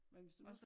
Men hvis du nu